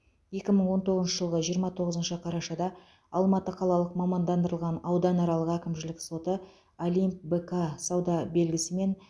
екі мың он тоғызыншы жылғы жиырма тоғызыншы қарашада алматы қалалық мамандандырылған ауданаралық әкімшілік соты олимп бк сауда белгісімен